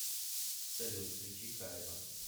салют включи кайба